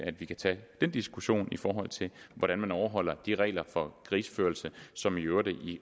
at vi kan tage den diskussion i forhold til hvordan man overholder de regler for krigsførelse som i øvrigt